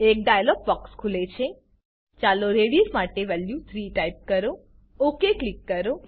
એક dialog box ખુલે છે ચાલો રેડિયસ માટે વેલ્યુ 3 ટાઈપ કરો ઓક ક્લિક કરો